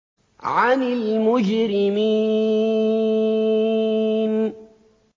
عَنِ الْمُجْرِمِينَ